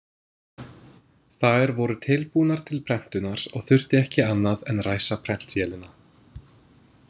Þær voru tilbúnar til prentunar og þurfti ekki annað en ræsa prentvélina.